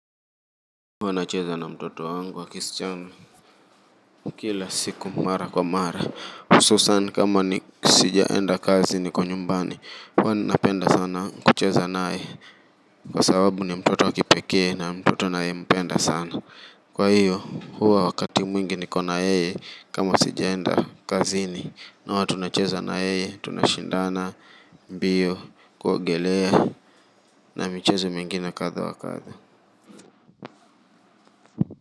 Wana cheza na mtoto wangu wa kisichana. Kila siku mara kwa mara hususan kama ni sijaenda kazi niko nyumbani huWa napenda sana kucheza naye. Kwa sababu ni mtoto wakipekee na mtoto ninaye mpenda sana. Kwa hiyo huwa wakati mwingi ni kona yeye. Kama sijaenda kazi ni na huwa tuna cheza na yeye. Tunashindana Mbio Kuogelea Na michezo mingine kadha wa kadha.